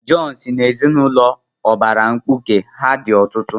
Jọn si n'ezinụlọ ụbara mkpuke, ha dị ọtụtụ.